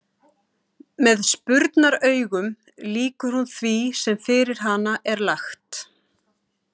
Með spurnaraugum lýkur hún því sem fyrir hana er lagt.